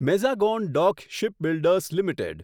Mazagon dock shipbuilders limited